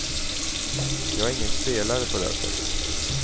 Jag är ingen spelare på det sättet.